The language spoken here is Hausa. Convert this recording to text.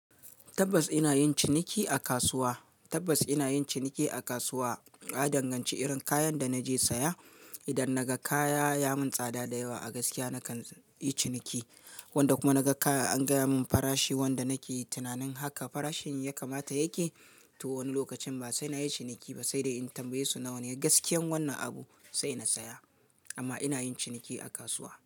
Tabbas ina yin ciniki a kasuwa. Tabbas ina yin ciniki a kasuwa. Na danganci irin kayan da naje saya. Idan naga kaya yayi min tsada da yawa a gaskiya nakan yi ciniki. Wanda kuma naga kaya an gaya mun farashi wanda nake tunanin haka farashin ya kamata yake, to wani lokacin ba sai na yi ciniki ba, sai dai in tambaye su nawane gaskiyar wannan abu sai na saya. Amma ina yin ciniki a kasuwa.